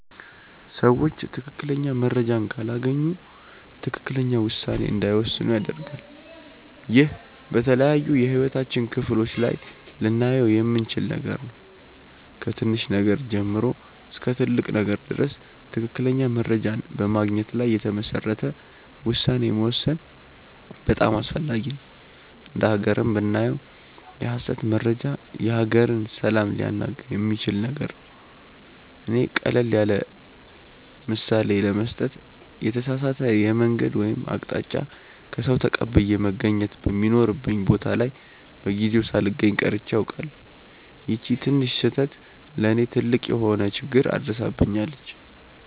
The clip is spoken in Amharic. ሰዎች ትክክለኛ መረጃን ካላገኙ ትክክለኛ ውሳኔ እንዳይወስኑ ያደርጋል። ይህ በተለያዩ የህይወታችን ክፍሎች ላይ ልናየው የምንችል ነገር ነው። ከትንሽ ነገር ጀምሮ እስከ ትልቅ ነገር ድረስ ትክክለኛ መረጃን በማግኘት ላይ የተመሰረተ ውሳኔ መወሰን በጣም አስፈላጊ ነው። እንደ ሃገርም ብናየው የሐሰት መረጃ የሀገርን ሰላም ሊያናጋ የሚችል ነገር ነው። እኔ ቀለል ያለምሳሌ ለመስጠት የተሳሳተ የመንገድ ወይም አቅጣጫ ከሰዉ ተቀብዬ መገኘት በሚኖርብኝ ቦታ ላይ በጊዜው ሳልገኝ ቀርቼ አውቃለሁ። ይቺ ትንሽ ስህተት ለእኔ ትልቅ የሆነ ችግር አድርሳብኛለች።